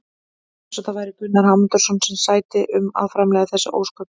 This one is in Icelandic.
Eins og það væri Gunnar Hámundarson sem sæti um að framleiða þessi ósköp!